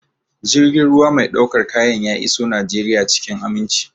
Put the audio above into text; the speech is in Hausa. Jirgin ruwa mai ɗaukar kayan ya iso Najeriya cikin aminci.